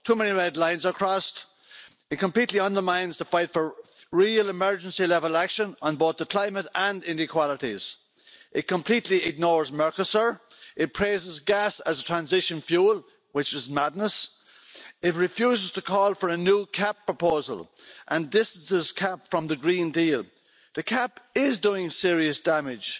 Too many red lines are crossed, it completely undermines the fight for real emergency level action on both the climate and inequalities, it completely ignores Mercosur, it praises gas as a transition fuel which is madness, it refuses to call for a new common agricultural policy proposal and this is the CAP from the Green Deal. The CAP is doing serious damage